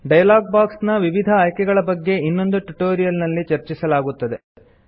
dialog box ನ ವಿವಿಧ ಆಯ್ಕೆಗಳ ಬಗ್ಗೆ ಇನ್ನೊಂದು ಟ್ಯುಟೋರಿಯಲ್ ನಲ್ಲಿ ಚರ್ಚಿಸಲಾಗುತ್ತದೆ